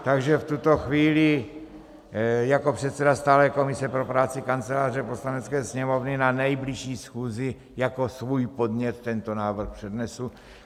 Takže v tuto chvíli jako předseda stálé komise pro práci Kanceláře Poslanecké sněmovny na nejbližší schůzi jako svůj podnět tento návrh přednesu.